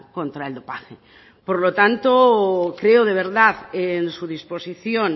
contra el dopaje por lo tanto creo de verdad en su disposición